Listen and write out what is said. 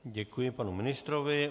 Děkuji panu ministrovi.